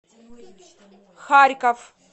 харьков